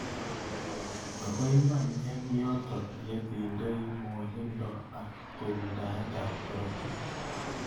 Ako iman eng yotok yetindei mwanindo ak tumndaet ab korotik.